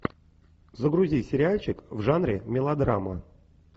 загрузи сериальчик в жанре мелодрама